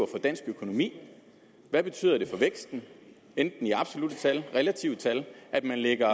for dansk økonomi hvad betyder det for væksten enten i absolutte tal relative tal at man lægger